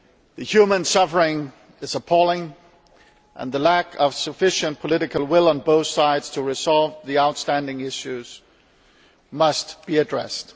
The human suffering is appalling and the lack of sufficient political will on both sides to resolve the outstanding issues must be addressed.